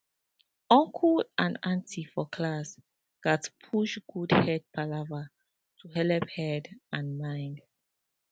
uncle and auntie for class gat push good head palava to helep head and mind